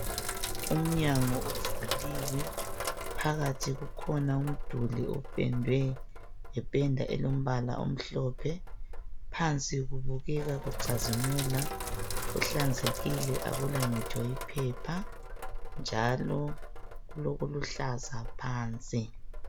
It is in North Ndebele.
Umnyango uvuliwe. Phakathi kukhona umduli opendwe ngependa elombala omhlophe. Phansi kubukeka kucazimula. Kuhlanzekile, akulangitsho iphepha, njalo kulokuluhlaza phansi.